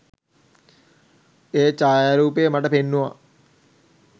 ඒ ඡායාරූපය මට පෙන්නුවා